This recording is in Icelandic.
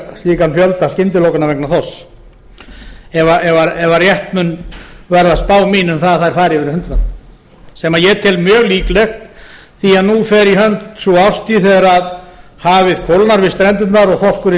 slíkan fjölda skyndilokana vegna þorsks ef rétt mun verða spá mín um að þær fari yfir hundrað sem ég tel mjög líklegt því að nú fer í hönd sú árstíð þegar hafið kólnar við strendurnar og þorskurinn